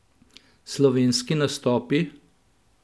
Slovenski nastopi?